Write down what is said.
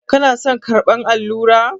Kina son karɓar allura?